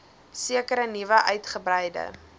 sekere nuwe uitgebreide